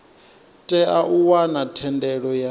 tea u wana thendelo ya